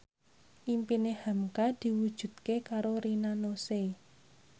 impine hamka diwujudke karo Rina Nose